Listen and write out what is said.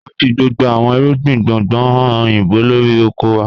A ń fi gbogbo àwọn ìrúgbìn gbóngbò hàn oyinbó lọ́rí ọkọ̀ wà.